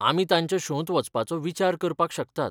आमी तांच्या शोंत वचपाचो विचार करपाक शकतात.